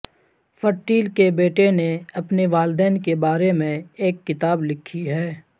fertile کے بیٹے نے اپنے والدین کے بارے میں ایک کتاب لکھی ہے